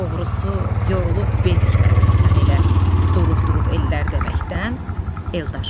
Doğrusu yorulub bezikmədin sən elə durub-durub ellər deməkdən, Eldar.